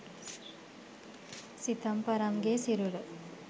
සිතම්පරම්ගේ සිරුර